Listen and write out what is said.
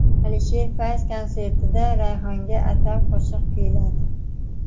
Alisher Fayz konsertida Rayhonga atab qo‘shiq kuyladi .